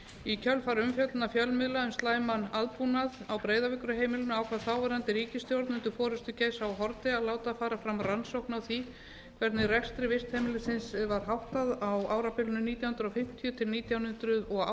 í kjölfar umfjöllunar fjölmiðla um slæman aðbúnað á breiðavíkurheimilinu ákvað þáverandi ríkisstjórn undir forustu geirs h haarde að láta fara fram rannsókn á því hvernig rekstri vistheimilisins var háttað á árabilinu nítján hundruð fimmtíu til nítján hundruð áttatíu